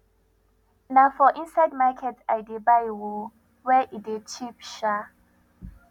na for inside market i dey buy o where e dey cheap um